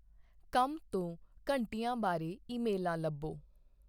ਕੰਮ ਤੋਂ ਘੰਟਿਆਂ ਬਾਰੇ ਈਮੇਲਾਂ ਲੱਭੋ?